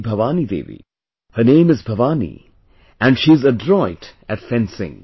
Bhavani Devi Her name is Bhavani and she is adroit at fencing